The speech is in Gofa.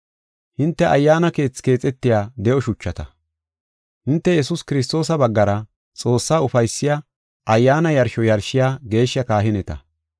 Hinte Ayyaana keethi keexetiya de7o shuchata. Hinte Yesuus Kiristoosa baggara Xoossaa ufaysiya ayyaana yarsho yarshiya geeshsha kahineta.